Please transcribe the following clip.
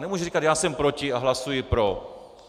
Nemůže říkat "já jsem proti a hlasuji pro".